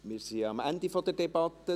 Wir sind am Ende der Debatte.